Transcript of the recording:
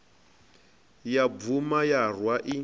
ya bvuma ya rwa i